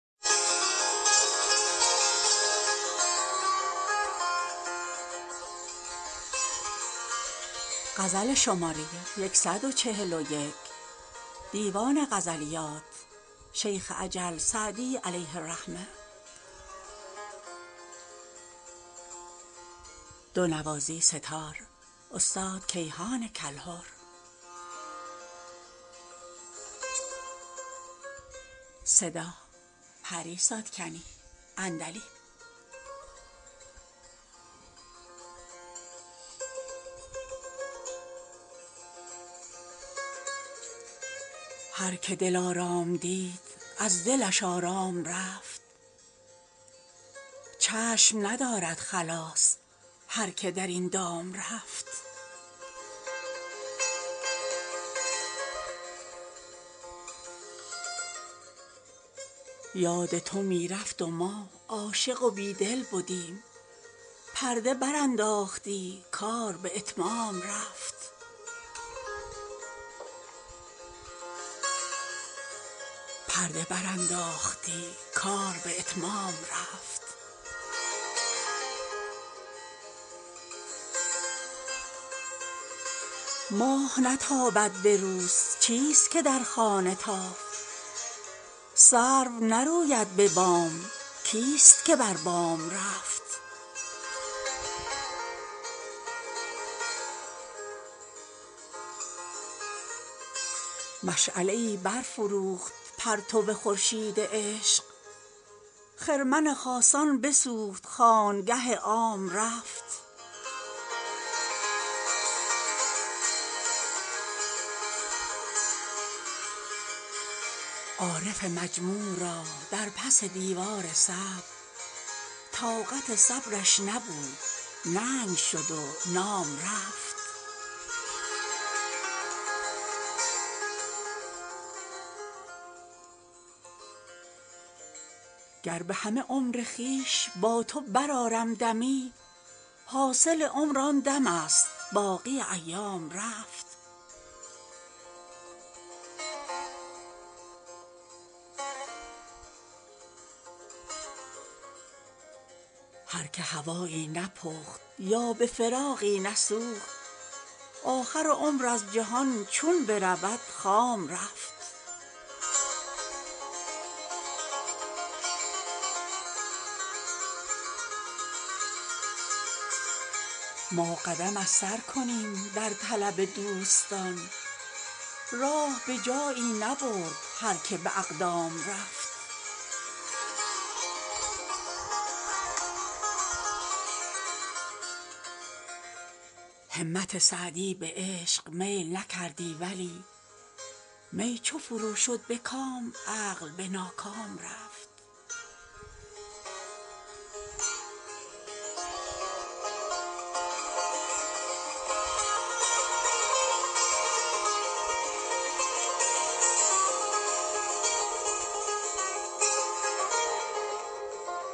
هر که دلارام دید از دلش آرام رفت چشم ندارد خلاص هر که در این دام رفت یاد تو می رفت و ما عاشق و بیدل بدیم پرده برانداختی کار به اتمام رفت ماه نتابد به روز چیست که در خانه تافت سرو نروید به بام کیست که بر بام رفت مشعله ای برفروخت پرتو خورشید عشق خرمن خاصان بسوخت خانگه عام رفت عارف مجموع را در پس دیوار صبر طاقت صبرش نبود ننگ شد و نام رفت گر به همه عمر خویش با تو برآرم دمی حاصل عمر آن دمست باقی ایام رفت هر که هوایی نپخت یا به فراقی نسوخت آخر عمر از جهان چون برود خام رفت ما قدم از سر کنیم در طلب دوستان راه به جایی نبرد هر که به اقدام رفت همت سعدی به عشق میل نکردی ولی می چو فرو شد به کام عقل به ناکام رفت